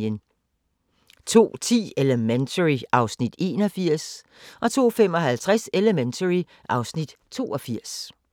02:10: Elementary (Afs. 81) 02:55: Elementary (Afs. 82)